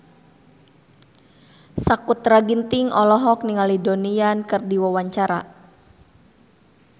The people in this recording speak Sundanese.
Sakutra Ginting olohok ningali Donnie Yan keur diwawancara